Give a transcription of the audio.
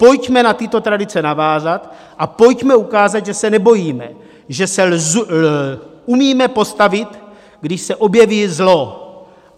Pojďme na tyto tradice navázat a pojďme ukázat, že se nebojíme, že se umíme postavit, když se objeví zlo.